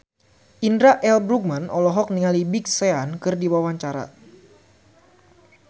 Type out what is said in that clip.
Indra L. Bruggman olohok ningali Big Sean keur diwawancara